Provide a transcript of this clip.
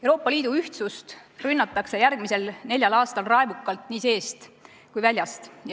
Euroopa Liidu ühtsust rünnatakse järgmisel neljal aastal raevukalt nii seest kui ka väljast.